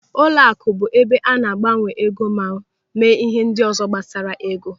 Ụlọaku bụ ebe a na-agbanwe ego ma mee ihe ndị ọzọ gbasara ego.